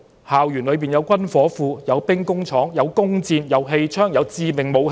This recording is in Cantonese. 校園裏有軍火庫、兵工廠、弓箭、氣槍、致命武器。